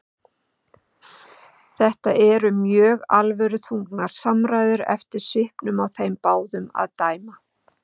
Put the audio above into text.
Þetta eru mjög alvöruþrungnar samræður eftir svipnum á þeim báðum að dæma.